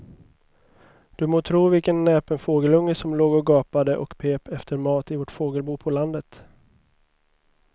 Du må tro vilken näpen fågelunge som låg och gapade och pep efter mat i vårt fågelbo på landet.